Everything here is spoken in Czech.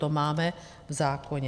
To máme v zákoně.